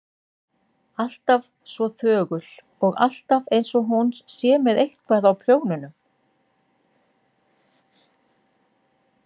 Alltaf svo þögul og alltaf einsog hún sé með eitthvað á prjónunum.